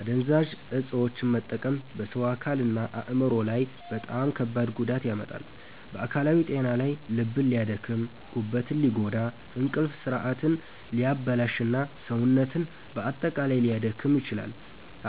አደንዛዥ እፆችን መጠቀም በሰው አካልና አእምሮ ላይ በጣም ከባድ ጉዳት ያመጣል። በአካላዊ ጤና ላይ ልብን ሊያደክም፣ ጉበትን ሊጎዳ፣ እንቅልፍ ስርዓትን ሊያበላሽ እና ሰውነትን በአጠቃላይ ሊያዳክም ይችላል።